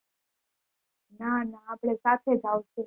ના ના આપડે સાથે જ આવશે